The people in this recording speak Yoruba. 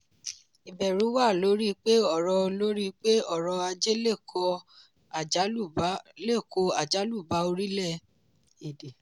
ìbẹ̀rù wà lórí pé ọrọ̀ lórí pé ọrọ̀ ajé lè kó àjálù bá orílẹ̀-èdè.